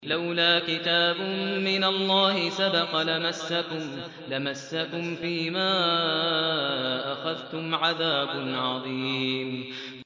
لَّوْلَا كِتَابٌ مِّنَ اللَّهِ سَبَقَ لَمَسَّكُمْ فِيمَا أَخَذْتُمْ عَذَابٌ عَظِيمٌ